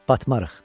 Batmarıq.